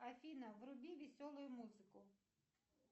афина вруби веселую музыку